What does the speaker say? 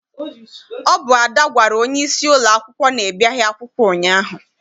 Ọ bụ Ada gwara onyeisi ụlọakwụkwọ na I biaghị akwụkwọ ụnyaahụ.